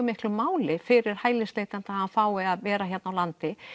miklu máli fyrir hælisleitanda að hann fái að vera hér á landinu